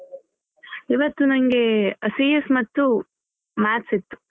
ಇವತ್ತು ನಂಗೆ CS ಮತ್ತು maths ಇತ್ತು.